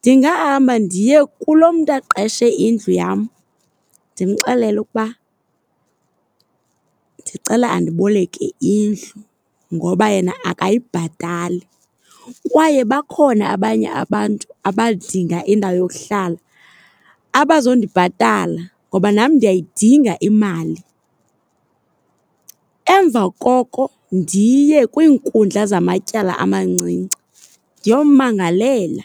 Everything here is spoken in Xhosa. Ndingahamba ndiye kulo mntu aqeshe indlu yam ndimxelele ukuba ndicela andiboleke indlu ngoba yena akayibhatali. Kwaye bakhona abanye abantu abadinga indawo yokuhlala abazondibhatala ngoba nam ndiyayidinga imali. Emva koko ndiye kwiinkundla zamatyala amancinci ndiyommangalela.